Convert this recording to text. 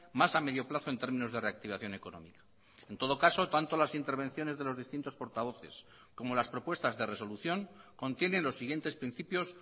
más a medio plazo en términos de reactivación económica en todo caso tanto las intervenciones de los distintos portavoces como las propuestas de resolución contienen los siguientes principios